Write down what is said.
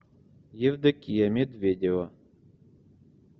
евдокия медведева